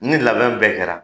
Ni labɛn bɛɛ kɛra,